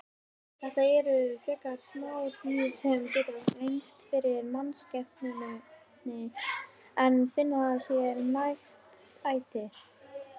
Þetta eru frekar smá dýr sem geta leynst fyrir mannskepnunni en finna sér nægt æti.